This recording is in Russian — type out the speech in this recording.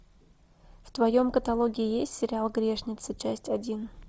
в твоем каталоге есть сериал грешницы часть один